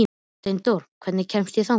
Steindór, hvernig kemst ég þangað?